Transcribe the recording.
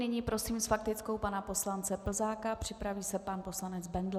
Nyní prosím s faktickou pana poslance Plzáka, připraví se pan poslanec Bendl.